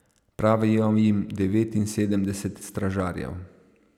Pravijo jim devetinsedemdeset stražarjev.